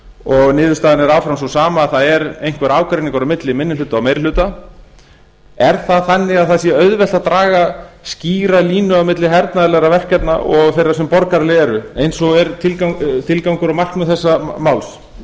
og niðurstaðan er áfram sú sama að það er einhver ágreiningur á milli meiri hluta og minni hluta er það þannig að það sé auðvelt að draga skýra línu á milli hernaðarlegra verkefna og þeirra sem borgaraleg eru eins og er tilgangur og markmið þess máls